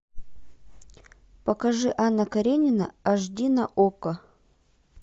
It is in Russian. покажи анна каренина аш ди на окко